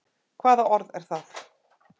Hvaða orð er það?